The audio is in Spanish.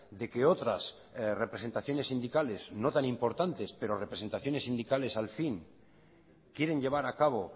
de que otras representaciones sindicales no tan importantes pero representaciones sindicales al fin quieren llevar acabo